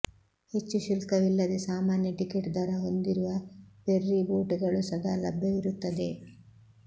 ಹೆಚ್ಚು ಶುಲ್ಕವಿಲ್ಲದೆ ಸಾಮಾನ್ಯ ಟಿಕೆಟ್ ದರ ಹೊಂದಿರುವ ಫೆರ್ರಿ ಬೋಟುಗಳು ಸದಾ ಲಭ್ಯವಿರುತ್ತದೆ